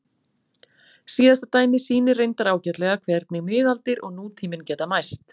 Síðasta dæmið sýnir reyndar ágætlega hvernig miðaldir og nútíminn geta mæst.